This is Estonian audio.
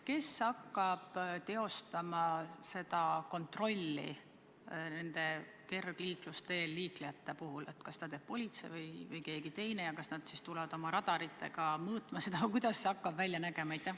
Kes hakkab teostama kontrolli kergliiklusteel liiklejate puhul, kas seda teeb politsei või keegi teine ja kas nad tulevad radaritega mõõtma seda või kuidas see hakkab välja nägema?